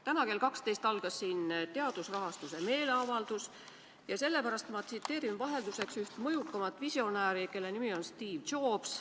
Täna kell 12 algas siin meeleavaldus teadusrahastuse teemal ja sellepärast ma tsiteerin vahelduseks üht maailma mõjukaimat visionääri, kelle nimi on Steve Jobs.